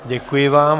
Děkuji vám.